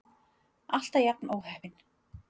Alltaf jafn óheppin!